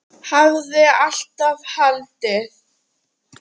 Hafði alltaf haldið.